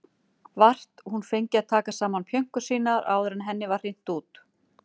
Vart hún fengi að taka saman pjönkur sínar áður en henni var hrint út.